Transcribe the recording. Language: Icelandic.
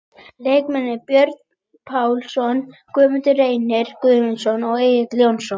Lykilmenn: Björn Pálsson, Guðmundur Reynir Gunnarsson, Egill Jónsson.